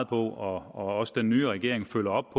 på og også den nye regering følger op